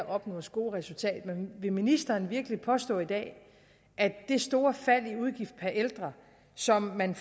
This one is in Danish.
opnås gode resultater men vil ministeren virkelig påstå i dag at det store fald i udgiften per ældre som man